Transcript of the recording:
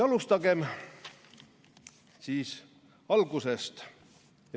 " Alustagem siis algusest.